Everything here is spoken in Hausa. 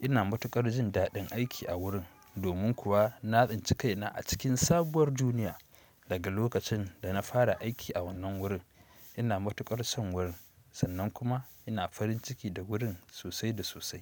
Ina matuƙar jin daɗin aiki a wurin domin kuwa na tsinci kaina a cikin sabuwar duniya daga lokacin da na fara aiki a wannan wurin. Ina matuƙar son wurin sannan kuma ina farin ciki da wurin sosai da sosai.